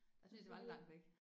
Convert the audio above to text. Det synes jeg var lidt langt væk